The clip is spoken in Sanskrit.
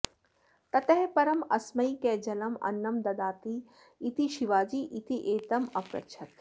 ततः परम् अस्मै कः जलम् अन्नं ददाति इति शिवाजी इत्येतम् अपृच्छत्